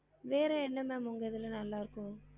வேற என்ன ma'am உங்க இதுல நல்லா இருக்கும்